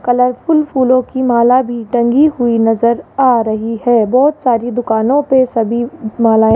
colourful फूलों की माला भी टंगी हुई नजर आ रही है बहुत सारी दुकानों पे सभी मालाएं --